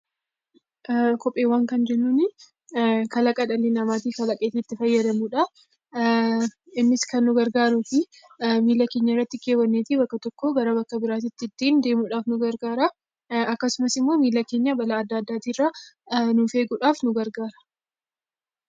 Kopheewwan kan jennuuni kalaqa dhalli namaa kalaqee ittj fayyadamudha. Innis kan fayyadu miilla keenyatti kaawwannee bakka tokko irraa bakka biraatti ittiin deemuudhaaf nu gargaara. Akkasumas immoo miilla keenya balaa adda addaa irraa nuuf eeguudhaaf nu gargaara.